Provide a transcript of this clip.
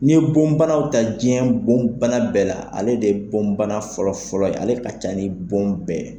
Ni ye bonbanaw ta, diɲɛ bonbana bɛɛ la, ale de ye bonbana fɔlɔ fɔlɔ ye, ale ka ca ni bon bɛɛ ye.